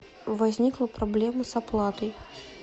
возникла проблема с оплатой